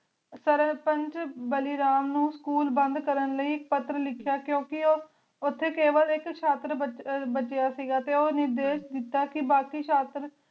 ਸੇਰ੍ਪਾਚ ਬਾਲੀ ਰਾਮ ਨੂ ਸਕੂਲ ਬੰਦ ਕਰਨ ਲੈ ਕਟਰ ਲਿਖੇਯਾ ਕੁੰ ਕੀ ਓਥੀ ਕਿਵਾ ਆਇਕ ਸ਼ਟਰ ਬਜੇਯਾ ਬਜੇਯਾ ਸੇ ਗਾ ਉਨੀਂ ਕੀ ਦੇਤਾ ਕੀ ਬਾਕੀ ਸ਼ਟਰ